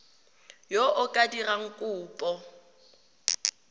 yo o ka dirang kopo